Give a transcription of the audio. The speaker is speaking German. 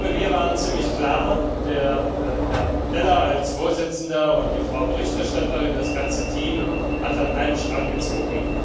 Wir waren ziemlich klar Herr Pittella als Vorsitzender und die Frau Berichterstatterin das ganze Team hat an einem Strang gezogen.